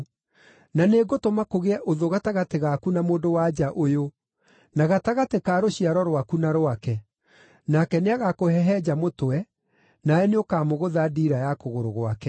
Na nĩngũtũma kũgĩe ũthũ gatagatĩ gaku na mũndũ-wa-nja ũyũ, na gatagatĩ ka rũciaro rwaku na rwake; nake nĩagakũhehenja mũtwe, nawe nĩũkamũgũtha ndiira ya kũgũrũ gwake.”